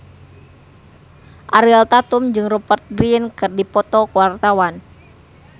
Ariel Tatum jeung Rupert Grin keur dipoto ku wartawan